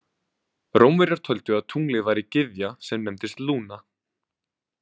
Rómverjar töldu að tunglið væri gyðja sem nefndist Luna.